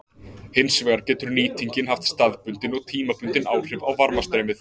Hins vegar getur nýtingin haft staðbundin og tímabundin áhrif á varmastreymið.